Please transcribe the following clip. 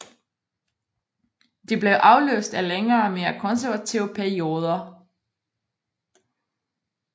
De blev afløst af længere mere konservative perioder